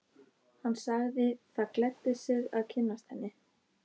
Hann sagði það gleddi sig að kynnast henni.